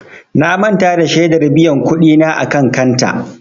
Na manta da shedar biyan kuɗi na a kan kanta.